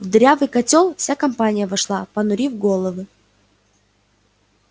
в дырявый котёл вся компания вошла понурив головы